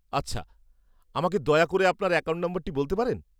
আচ্ছা। আমাকে দয়া করে আপনার অ্যাকাউন্ট নম্বরটি বলতে পারেন?